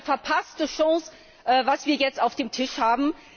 Es ist eine verpasste Chance, was wir jetzt auf dem Tisch haben.